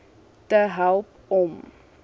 te help om